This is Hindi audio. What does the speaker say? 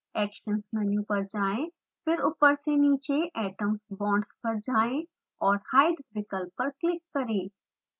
actions मेनू पर जाएँ फिर ऊपर से नीचे atoms\bonds पर जाएँ और hide विकल्प पर क्लिक करें